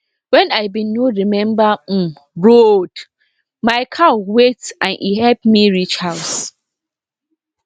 wen i bin no remember um road my cow wait and e help me reach house